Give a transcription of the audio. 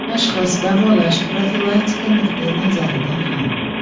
Tashxis, davolash, profilaktika nuqtayi nazaridan ham.